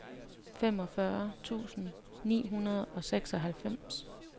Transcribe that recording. femogfyrre tusind ni hundrede og seksoghalvfems